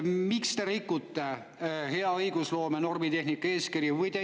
Miks te rikute hea õigusloome normitehnika eeskirja?